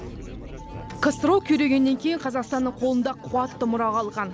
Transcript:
ксро күйрегеннен кейін қазақстанның қолында қуатты мұра қалған